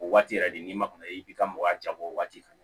O waati yɛrɛ de n'i ma kɔnɔ i b'i ka mɔgɔ jabɔ o waati ka na